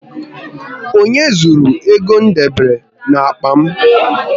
Onye zụrụru ego m debere n'akpa m?